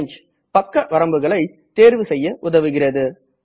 range பக்கங்கள் வரம்புகளை தேர்வு செய்ய உதவுகிறது